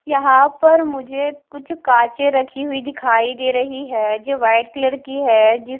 यहां पर मुझे कुछ कांचे रखी हुई दिखाई दे रही है जो वाइट कलर की है जिस--